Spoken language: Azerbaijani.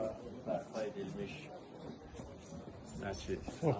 bu da bərpa edilmiş məscid.